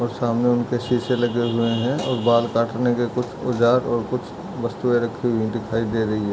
और सामने उनके शीशे लगे हुए हैं और बाल काटने के कुछ ओजार और कुछ वस्तुए रखी हुई दिखाई दे रही हैं।